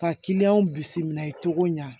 Ka kiliyanw bisimila cogo min na